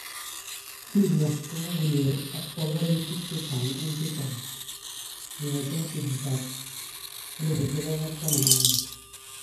Syria kokonyor ak panganutik chechwang en chechwang kongeten kgeyit ap 2011